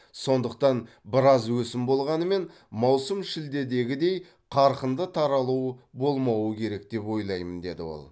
сондықтан біраз өсім болғанымен маусым шілдедегідей қарқынды таралу болмауы керек деп ойлаймын деді ол